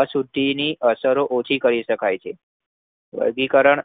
અશુદ્ધિની અસરો ઓછી કરી શકાય છે. વર્ગીકરણ